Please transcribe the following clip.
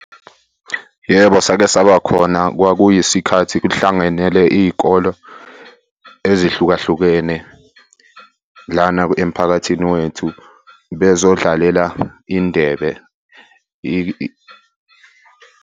Yebo, sake saba khona kwakuyisikhathi kuhlanganele iy'kolo ezihlukahlukene lana emphakathini wethu bezodlalela indebe .